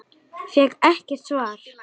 Fékk ekkert svar.